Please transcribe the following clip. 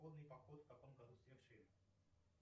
поход в каком году совершили